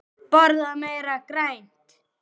Borða meira grænt.